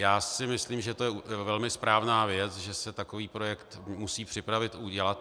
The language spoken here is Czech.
Já si myslím, že to je velmi správná věc, že se takový projekt musí připravit, udělat.